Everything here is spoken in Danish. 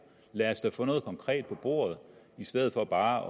lad os da få noget konkret på bordet i stedet for bare